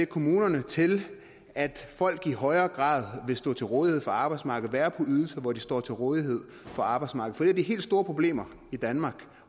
kommunerne til at folk i højere grad vil stå til rådighed for arbejdsmarkedet og være på ydelser hvor de står til rådighed for arbejdsmarkedet de helt store problemer i danmark